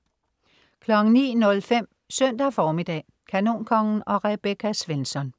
09.05 Søndag formiddag. Kanonkongen og Rebecca Svensson